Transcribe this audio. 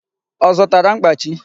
Ọ zụtara mkpachi?